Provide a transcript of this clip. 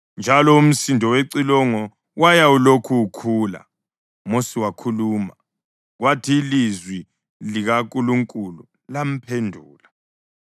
Njalo umsindo wecilongo waya ulokhu ukhula. UMosi wakhuluma, kwathi ilizwi likaNkulunkulu lamphendula.